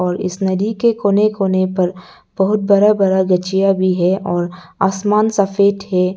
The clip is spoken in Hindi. और इस नदी के कोने कोने पर बहुत बड़ा बड़ा गछिया भी है और आसमान सफेद है।